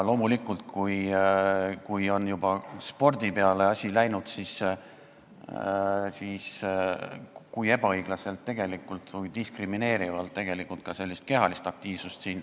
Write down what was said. Loomulikult, kui juba on spordi peale asi läinud, siis tuleb välja tuua, kui ebaõiglaselt või diskrimineerivalt soositakse ka kehalist aktiivsust.